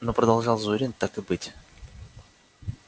ну продолжал зурин так и быть